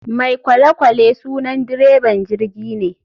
Mai kolekwale sunan dreban jirgine.